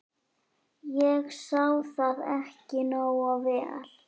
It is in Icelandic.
. ég sá það ekki nógu vel.